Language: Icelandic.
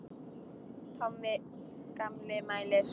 Tommi gamli mælir.